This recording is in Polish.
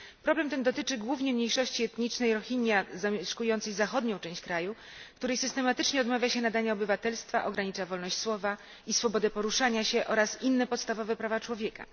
Problem ten dotyczy głównie mniejszości etnicznej Rohinja zamieszkującej zachodnią część kraju, której systematycznie odmawia się nadania obywatelstwa, ogranicza wolność słowa i swobodę poruszania się oraz inne podstawowe prawa człowieka.